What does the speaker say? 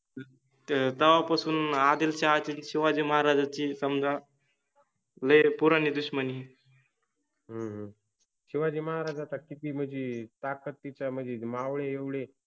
तवापासुन आदिलशाहाचि आणि शिवाजि महाराजाचि समजा वेळ पुरानि दुश्मनि. हम्म शिवाजि महराजाचा किति मनजे ताकत तिच्यामधे मावळे एवडे